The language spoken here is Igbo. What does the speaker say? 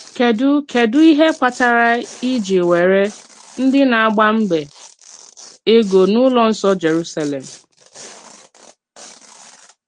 Kédù Kédù íhè kpàtàrà e jì nwèrè ndí na-agbàmbè ègò n’ùlọ̀ nsọ́ Jèrùsàlèm?